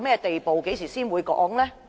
當局何時才會公布呢？